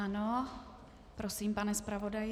Ano, prosím, pane zpravodaji.